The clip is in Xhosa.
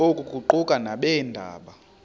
oku kuquka nabeendaba